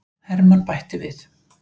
Hermann bætti við.